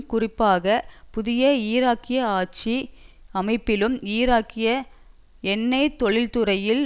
குறிப்பாக புதிய ஈராக்கிய ஆட்சி அமைப்பிலும் ஈராக்கிய எண்ணெய் தொழிற்துறையில்